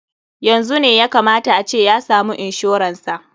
Yanzu ne ya ka mata a ce ya samu inshoran sa.